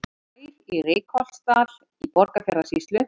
Bær í Reykholtsdal í Borgarfjarðarsýslu.